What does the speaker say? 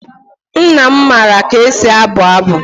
Nna m maara ka e si abụ abụ.